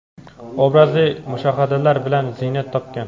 obrazli mushohadalar bilan ziynat topgan.